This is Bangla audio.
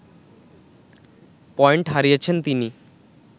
পয়েন্ট হারিয়েছেন তিনি